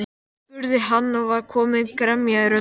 spurði hann og var komin gremja í röddina.